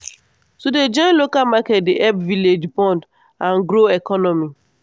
to dey join local market dey help village bond and grow economy.